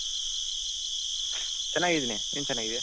ಚೆನ್ನಾಗಿದ್ದೀನಿ ನಿನ್ ಚೆನ್ನಾಗಿದ್ಯ .